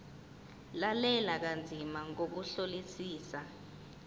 lalela kanzima ngokuhlolisisa